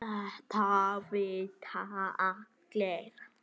Þetta vita allir.